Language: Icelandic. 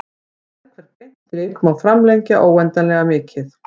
Sérhvert beint strik má framlengja óendanlega mikið.